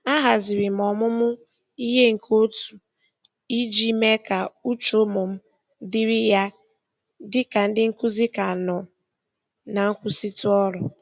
A haziri m ọmụmụ ihe nke otu iji mee ka uche ụmụ m dịrị ya dị ka ndị nkụzi ka nọ na nkwụsịtụ ọrụ.